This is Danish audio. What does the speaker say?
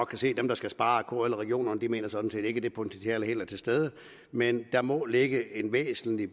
kan se at dem der skal spare kl og regionerne sådan set ikke mener at det potentiale helt er til stede men der må ligge en væsentlig